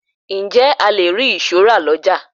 Ǹjẹ́ a le ri ìṣó rà lọjà?